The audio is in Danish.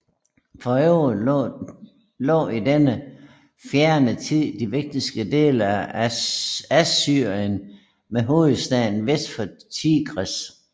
For øvrigt lå i denne fjerne tid de vigtigste dele af Assyrien med hovedstaden vest for Tigris